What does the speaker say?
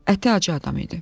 Əti acı adam idi.